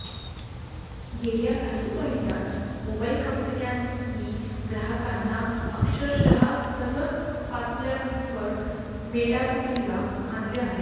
गेल्या काही महिन्यात मोबाइल कंपन्यांनी ग्राहकांना अक्षरशः सर्वच पातळ्यांवर मेटाकुटीला आणले आहे